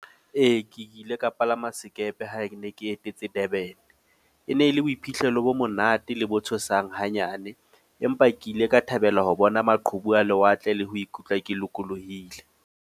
Ee, ke ile ka palama sekepe ha ke ne ke etetse Durban. E ne e le boiphihlelo bo monate le bo tshosang hanyane. Empa ke ile ka thabela ho bona maqhubu a lewatle le ho ikutlwa ke lokolohile.